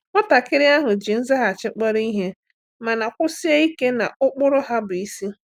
Nwatakịrị ahụ ji nzaghachi kpọrọ ihe mana kwụsie ike na ụkpụrụ ha bụ isi.